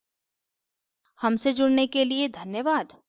हमसे जुड़ने के लिए धन्यवाद